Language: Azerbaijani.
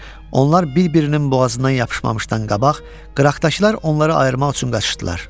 Onlar bir-birinin boğazından yapışmamışdan qabaq, qıraqdakılar onları ayırmaq üçün qaçışdılar.